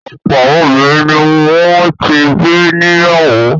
Ọ̀pọ̀ obìnrin ni wọ́n ti gbé níyàwó.